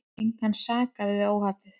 Engan sakaði við óhappið.